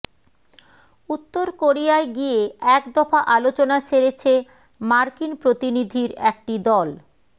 উত্তর কোরিয়ায় গিয়ে এক দফা আলোচনা সেরেছে মার্কিন প্রতিনিধির একটি দল